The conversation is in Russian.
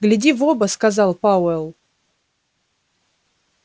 гляди в оба сказал пауэлл